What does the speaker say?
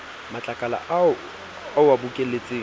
matlakala ao o a bokelletseng